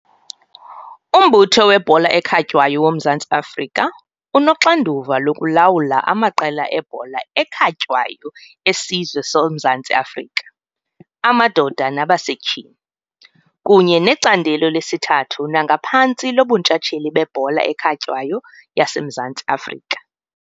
UMbutho weBhola eKhatywayo woMzantsi Afrika unoxanduva lokulawula amaqela ebhola ekhatywayo esizwe soMzantsi Afrika amadoda nabasetyhini, kunye necandelo lesithathu nangaphantsi loBuntshatsheli beBhola ekhatywayo yaseMzantsi Afrika.